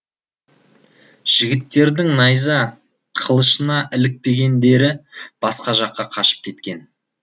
жігіттердің найза қылышына ілікпегендері басқа жаққа қашып кеткен